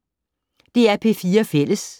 DR P4 Fælles